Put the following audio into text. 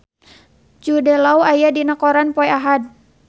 Jude Law aya dina koran poe Ahad